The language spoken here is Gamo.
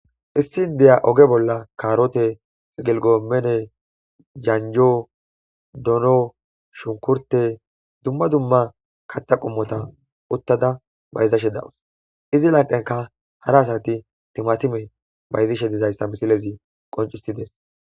Issi n deya oge bolla kaarote xigelgo mene janjo dono shunkurte dumma dumma katha qummota uttada bayzashe dawus izi lanqenka hara asati timatime bayzishe dizayssa misilezi qoncisides.